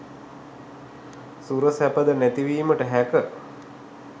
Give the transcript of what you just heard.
සුර සැපද නැති වීමට හැක